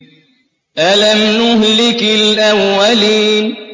أَلَمْ نُهْلِكِ الْأَوَّلِينَ